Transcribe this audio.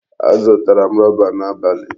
Azụtara m rọba n'abalị.